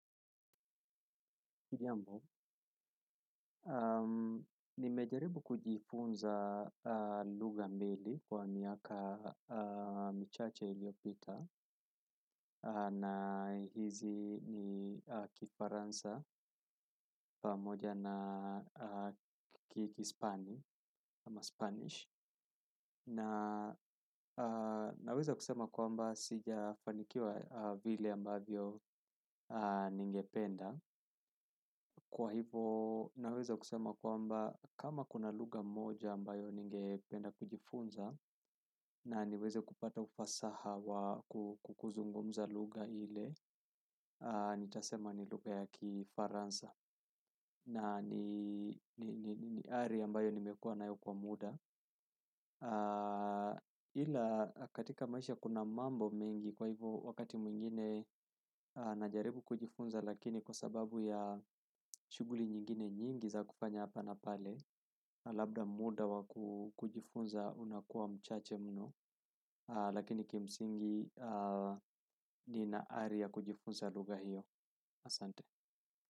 Hujambo, nimejaribu kujifunza lugha mbili kwa miaka michache iliopita na hizi ni kifaransa pamoja na kiispania ama Spanish na naweza kusema kwamba sijafanikiwa vile ambavyo ningependa kwa hivo naweza kusema kwamba kama kuna lugha moja ambayo ningependa kujifunza na niweze kupata ufasaha wa kukuzungumza lugha ile nitasema ni lugha ya kifaransa na ni ari ambayo nimekuwa nayo kwa muda ila katika maisha kuna mambo mengi kwa hivo wakati mwingine najaribu kujifunza lakini kwa sababu ya shughuli nyingine nyingi za kufanya hapa na pale labda muda wa kujifunza unakuwa mchache mno lakini kimsingi ni na ari ya kujifunza lugha hiyo asante.